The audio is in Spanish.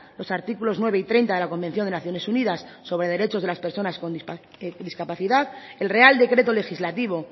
los artículos nueve y treinta de la convención de naciones unidas sobre derechos de las personas con discapacidad el real decreto legislativo